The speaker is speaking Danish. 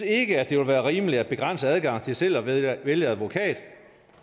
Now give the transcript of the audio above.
ikke at det er rimeligt at begrænse adgangen til selv at vælge vælge advokat